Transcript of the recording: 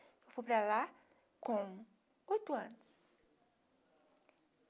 Eu fui para lá com oito anos.